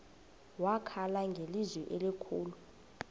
wakhala ngelizwi elikhulu